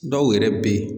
Dɔw yɛrɛ bɛ yen